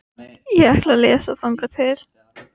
Ég ætla að lesa þangað til.